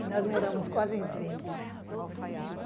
E nós moramos quase em frente.